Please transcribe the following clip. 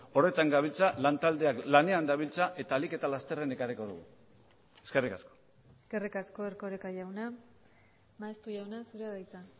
horretan gabiltza lan taldeak lanean dabiltza eta ahalik eta lasterren ekarriko dugu eskerrik asko eskerrik asko erkoreka jauna maeztu jauna zurea da hitza